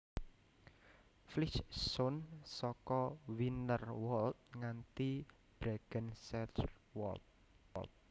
Flysch zone saka Wienerwald nganti Bregenzerwald